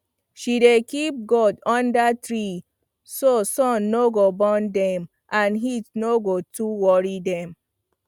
she dey keep goat under tree so sun no go burn dem and heat no go too worry dem